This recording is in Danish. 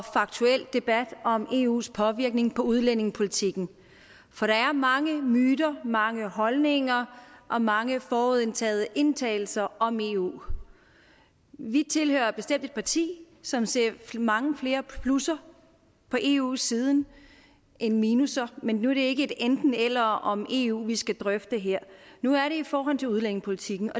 faktuelt debat om eus påvirkning af udlændingepolitikken for der er mange myter mange holdninger og mange forudindtagede antagelser om eu vi tilhører bestemt et parti som ser mange flere plusser på eu siden end minusser men nu er det ikke et enten eller om eu vi skal drøfte her nu er det i forhold til udlændingepolitikken